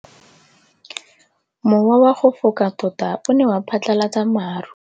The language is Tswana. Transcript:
Mowa o wa go foka tota o ne wa phatlalatsa maru.